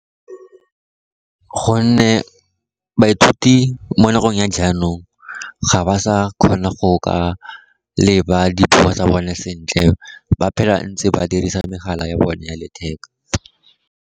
Gonne baithuti mo nakong ya jaanong ga ba sa kgona go ka leba dithuto tsa bone sentle, ba phela ntse ba dirisa megala ya bone ya letheka.